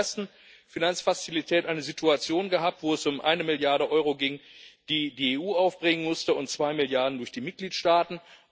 Wir haben in der ersten Finanzfazilität eine Situation gehabt, wo es um eine Milliarde Euro ging, die die EU aufbringen musste, und zwei Milliarden durch die Mitgliedstaaten.